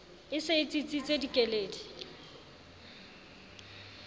e se e tsitsitse dikeledi